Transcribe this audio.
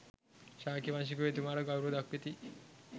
ශාක්‍ය වංශිකයෝ එතුමාට ගෞරව දක්වති.